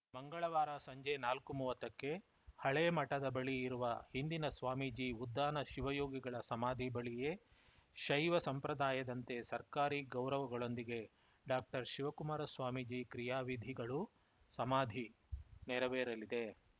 ಮಂಗಳವಾರ ಸಂಜೆ ನಾಲ್ಕು ಮೂವತ್ತಕ್ಕೆ ಹಳೆ ಮಠದ ಬಳಿ ಇರುವ ಹಿಂದಿನ ಸ್ವಾಮೀಜಿ ಉದ್ದಾನ ಶಿವಯೋಗಿಗಳ ಸಮಾಧಿ ಬಳಿಯೇ ಶೈವ ಸಂಪ್ರದಾಯದಂತೆ ಸರ್ಕಾರಿ ಗೌರವಗೊಂದಿಗೆ ಡಾಕ್ಟರ್ಶಿವಕುಮಾರ ಸ್ವಾಮೀಜಿ ಕ್ರಿಯಾವಿಧಿಗಳುಸಮಾಧಿ ನೆರವೇರಲಿದೆ